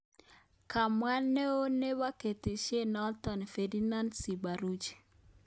Komwa neoo nebo ketesyenoto Ferdinant Simbaruhije